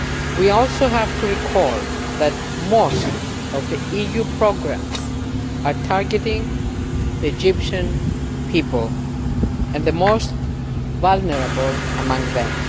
We also have to recall that most of the EU programmes are targeting Egyptian people and the most vulnerable among them.